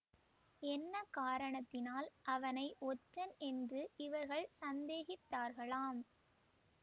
என்ன காரணத்தினால் அவனை ஒற்றன் என்று இவர்கள் சந்தேகித்தார்களாம்